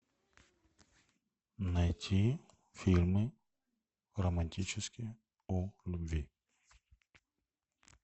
найти фильмы романтические о любви